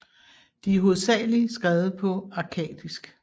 De er hovedsagelig skrevet på akkadisk